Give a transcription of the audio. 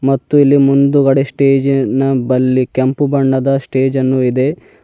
ಮತ್ತು ಇಲ್ಲಿ ಮುಂದುಗಡೆ ಸ್ಟೇಜಿನ ಬಲ್ಲಿ ಕೆಂಪು ಬಣ್ಣದ ಸ್ಟೇಜನ್ನು ಇದೆ.